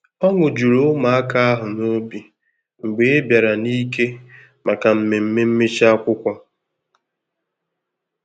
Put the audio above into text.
Ọṅụ jùrù ụmụaka ahu n'obi mgbe ibara n'ike màkà mmemme mmechi akwụkwọ.